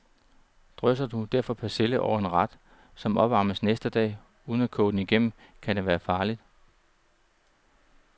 Drysser du derfor persille over en ret, som opvarmes næste dag, uden at koge den igennem, kan det være farligt.